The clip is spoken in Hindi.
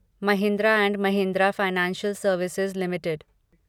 Mahindra and Mahindra Financial Services limited